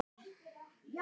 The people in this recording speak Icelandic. Það verð ég að segja.